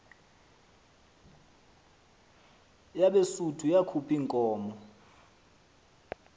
yabesuthu yakhuph iinkomo